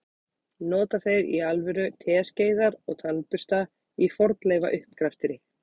Nota þeir í alvöru teskeiðar og tannbursta í fornleifauppgreftri?